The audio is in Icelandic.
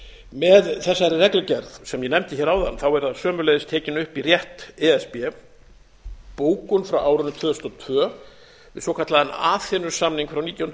með þessari reglugerð sem ég nefndi hér áðan verður sömuleiðis tekin upp í rétt e s b bókun frá árinu tvö þúsund og tvö um svokallaðan aþenusamning frá nítján hundruð sjötíu